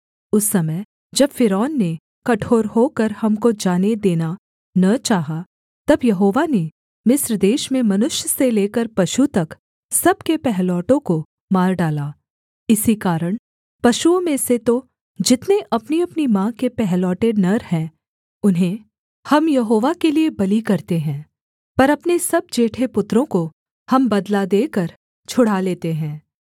उस समय जब फ़िरौन ने कठोर होकर हमको जाने देना न चाहा तब यहोवा ने मिस्र देश में मनुष्य से लेकर पशु तक सब के पहिलौठों को मार डाला इसी कारण पशुओं में से तो जितने अपनीअपनी माँ के पहलौठे नर हैं उन्हें हम यहोवा के लिये बलि करते हैं पर अपने सब जेठे पुत्रों को हम बदला देकर छुड़ा लेते हैं